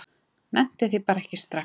Nennti því bara ekki strax.